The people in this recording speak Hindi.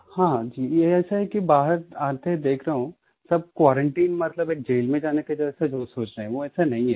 हाँ जी ये ऐसा है कि बाहर आके देख रहा हूँ सब क्वारंटाइन मतलब एक जैल में जाने के जैसा लोग सोच रहे हैं वो ऐसा नहीं है